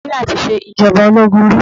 Nàìjíríà tí ṣe ìjọba ológun rí.